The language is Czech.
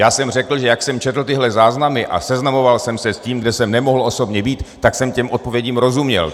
Já jsem řekl, že jak jsem četl tyhle záznamy a seznamoval jsem se s tím, kde jsem nemohl osobně být, tak jsem těm odpovědím rozuměl.